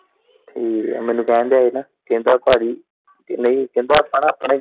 ਠੀਕ ਐ ਮੈਨੂੰ ਕਹਿਣ ਦਿਆਂ ਹੀ ਨਾ ਕਹਿੰਦਾ ਭਾਜੀ ਨਹੀਂ ਕਹਿੰਦਾ ਆਪਾਂ ਨਾ ਆਪਣਾ ਈ।